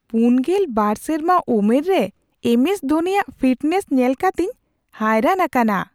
᱔᱒ ᱥᱮᱨᱢᱟ ᱩᱢᱮᱨ ᱨᱮ ᱮᱢ ᱮᱥ ᱫᱷᱚᱱᱤᱭᱟᱜ ᱯᱷᱤᱴᱱᱮᱥ ᱧᱮᱞ ᱠᱟᱛᱮᱧ ᱦᱟᱭᱨᱟᱱ ᱟᱠᱟᱱᱟ ᱾